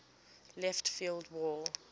left field wall